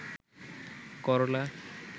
করলা